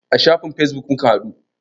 A shafin fesbuk muka haɗu.